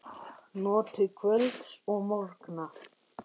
Notið kvölds og morgna.